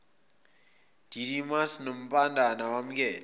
didymus nompandana wamkele